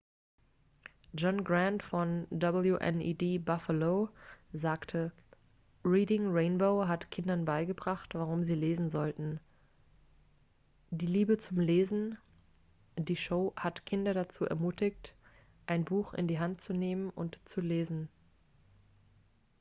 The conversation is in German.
"john grant von wned buffalo reading rainbows heimatstation sagte: "reading rainbow hat kindern beigebracht warum sie lesen sollten ... die liebe zum lesen - [die show] hat kinder dazu ermutigt ein buch in die hand zu nehmen und zu lesen.""